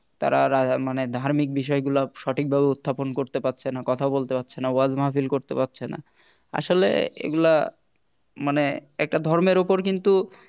তারা মানে ধার্মিক বিষয়গুলো সঠিকভাবে উত্থাপন করতে পারছে না কথা বলতে পারছে না ওয়াজ মাহফিল করতে পারছে না আসলে এগুলা মানে একটা ধর্মের উপর কিন্তু